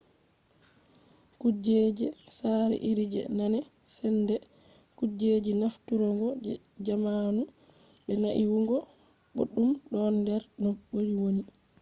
kujej sare iri je nane sende kujeji nafturgo je zamanu be naiwugo boddum don der no be woni